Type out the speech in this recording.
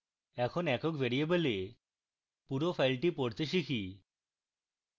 এখন একক ভ্যারিয়েবলে পুরো file পড়তে শিখি